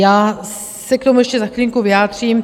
Já se k tomu ještě za chvilinku vyjádřím.